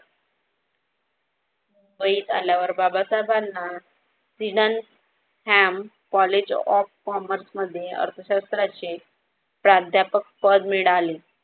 मुंबईत आल्यावर बाबा साहेबांना Sydenham college of commerce मध्ये अर्थशास्त्राचे प्राध्यापक पद मिडाले.